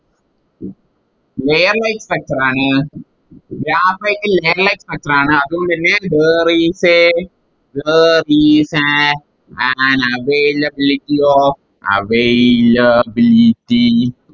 Layer like structure ആണ് Graphite ൽ Layer like structure ആണ് അതുകൊണ്ടെന്നെ there is a there is a an availability of availability